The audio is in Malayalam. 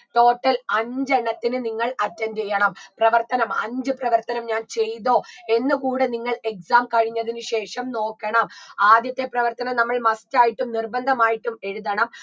total അഞ്ചു എണ്ണത്തിന് നിങ്ങൾ attend യ്യണം പ്രവർത്തനം അഞ്ചു പ്രവർത്തനം ഞാൻ ചെയ്‌തോ എന്ന് കൂടെ നിങ്ങൾ exam കഴിഞ്ഞതിന് ശേഷം നോക്കണം ആദ്യത്തെ പ്രവർത്തനം നമ്മൾ must ആയിട്ടും നിർബന്ധമായിട്ടും എഴുതണം